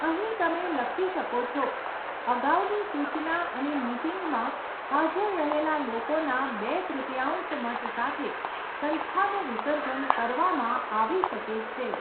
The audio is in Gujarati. અહીં, તમે લખી શકો છો, અગાઉની સૂચના અને મીટિંગમાં હાજર રહેલા લોકોના બે તૃતીયાંશ મત સાથે સંસ્થાનું વિસર્જન કરવામાં આવી શકે છે.